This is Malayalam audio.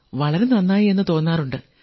വളരെ നന്നായി എന്നു തോന്നാറുണ്ട്